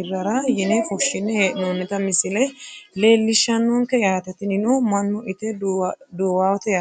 hirara yine fushine hee`nonita misile leelishanonke yaate tinino mannu ite duuwawote yaate.